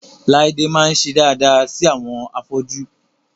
Láídé máa ń ṣe daada sí àwọn afọ́jú